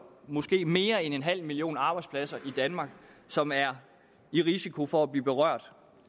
måske mere end en halv million arbejdspladser i danmark som er i risiko for at blive berørt